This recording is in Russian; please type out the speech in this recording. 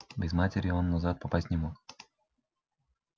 без матери он назад попасть не мог